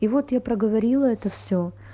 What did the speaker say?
и вот я проговорила это все